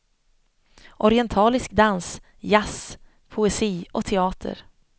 Orientalisk dans, jazz, poesi och teater.